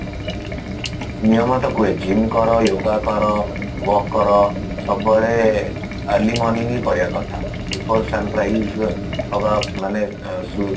ନିୟମ ତ କୁହେ gym କର yoga କର walk କର ସବୁବେଳେ early morning ହିଁ କରିବା କଥା because sunrise ହବା ମାନେ ସୁ